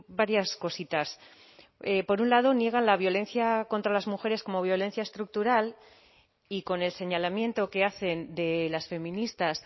varias cositas por un lado niega la violencia contra las mujeres como violencia estructural y con el señalamiento que hacen de las feministas